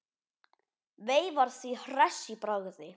Veifar því hress í bragði.